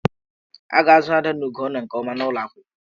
A ga-azụ Ada na Ugonna nke ọma n'ụlọ akwụkwọ.